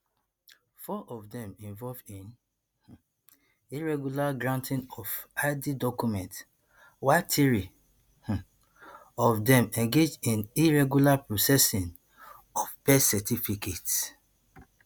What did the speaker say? four of dem involve in um irregular granting of id documents while three um of dem engage in irregular processing of birth certificates